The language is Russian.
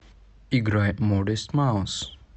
играй модест маус